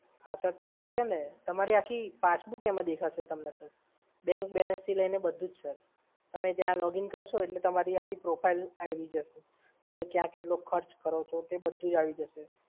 હા સર થઈ શકે ને! તમારી આખી passbook એમાં દેખાશે સર. bank balance થી લઈને બધુ જ સર. તમે ત્યા login કરશો એટલે તમારી profile ત્યાં આવી જશે. તમે કયા કેટલો ખર્ચ કર્યો છે એ બધુ જ આવી જશે.